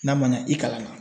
N'a ma ɲa i kalan na.